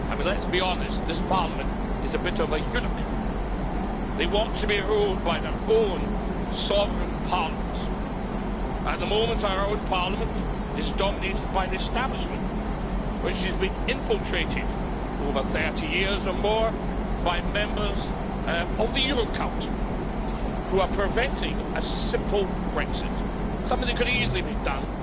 I mean, let's be honest, this Parliament is a bit of a eunuch. They want to be ruled by their own sovereign parliaments. At the moment our own parliament is dominated by an establishment which has been infiltrated over 30 years or more by members of the Euro cult, who are preventing a simple Brexit something that could easily be done